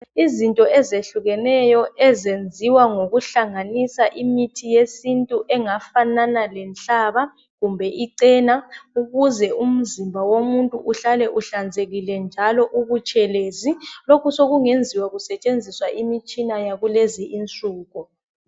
Izinto ezehlukeneyo ezenziwa ngokuhlanganisa imithi yesintu engafanana lenhlaba kumbe ichena ukuze umzimba womuntu uhlale uhlanzekile njalo ubutshelezi lokhu sokungenziwa kusetshenziswa imitshina yakulezinsuku